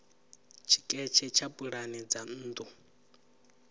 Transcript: tshiketshe tsha pulane dza nnḓu